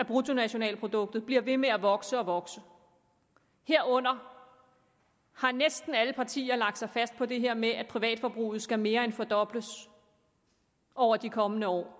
bruttonationalproduktet bliver ved med at vokse og vokse herunder har næsten alle partier lagt sig fast på det her med at privatforbruget skal mere end fordobles over de kommende år